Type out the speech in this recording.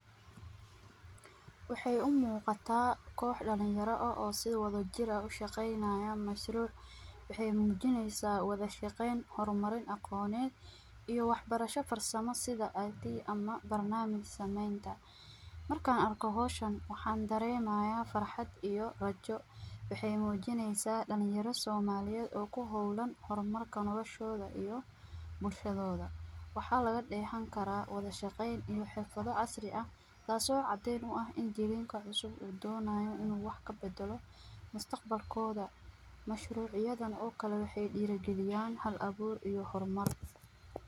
Waxay u muuqataa koox dhalinyaro ah oo si wadajir ah u shaqaynayaan mashruuc. Waxay muujinaysaa wada shaqayn, horumarin, aqoonaad iyo waxbarasho farsamo sida IT iyo ama barnaamij samaynta. Markaan arko hawshan waxaan dareemayaa farxad iyo rajo. Waxay muujinaysaa dhalinyaro Soomaali ah oo ku hawlan horumarka noloshooda iyo bulshadooda. Waxaa laga dheehan karaa wada shaqayn iyo xirfado casri ah, taas oo caddeyn u ah in jiilka cusub uu doonayo inuu wax ka beddelo mustaqbalkooda. Mashruucyadan oo kale waxay diraan kaliya hal-abuur iyo horumar.